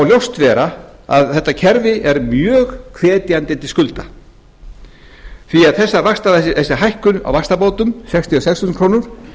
ljóst vera að þetta kerfi er mjög hvetjandi til skulda því að þessi hækkun á vaxtabótum sextugustu og sjötta þúsund krónum